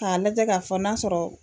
K'a lajɛ ka fɔ n'a sɔrɔ